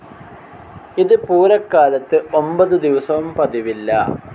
ഇത് പൂരക്കാലത്ത് ഒൻപതു ദിവസവും പതിവില്ല.